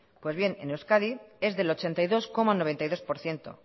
pues bien en euskadi es del ochenta y dos coma noventa y dos por ciento